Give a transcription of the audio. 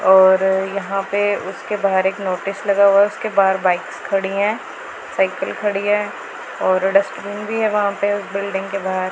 और यहां पे उसके बाहर एक नोटिस लगा हुआ है उसके बाहर बाइक्स खड़ी हैं साइकिल खड़ी है और डस्टबिन भी है वहां पे बिल्डिंग के बाहर।